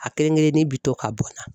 A kelen kelennin bi to ka bɔn na.